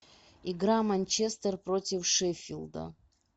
игра манчестер против шеффилда